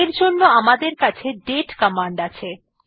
এর জন্য আমাদের কাছে দাতে কমান্ড আছে